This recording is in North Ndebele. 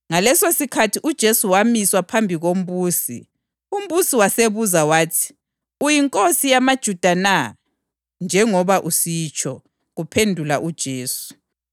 Ngalesosikhathi uJesu wamiswa phambi kombusi, umbusi wasebuza wathi, “Uyinkosi yamaJuda na?” “Njengoba usitsho,” kuphendula uJesu.